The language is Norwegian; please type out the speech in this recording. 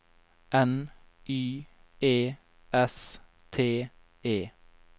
N Y E S T E